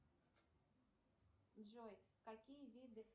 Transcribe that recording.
джой какие виды